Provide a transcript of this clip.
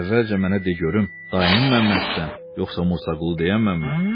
Əvvəlcə mənə de görüm, dayının Məmməssən yoxsa Murçaqulu deyən Məmmə?